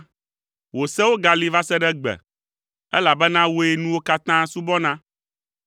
Wò sewo gali va se ɖe egbe, elabena wòe nuwo katã subɔna.